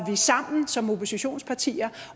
sammen som oppositionspartier